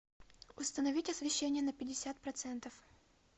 установить освещение на пятьдесят процентов